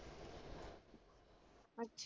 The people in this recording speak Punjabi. ਅੱਛਾ।